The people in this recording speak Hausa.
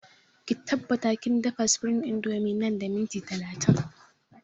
Ki tabbata kin dafa supreme indomie nan da minti talatin!